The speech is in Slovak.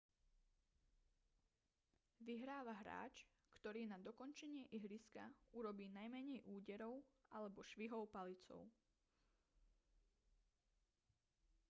vyhráva hráč ktorý na dokončenie ihriska urobí najmenej úderov alebo švihov palicou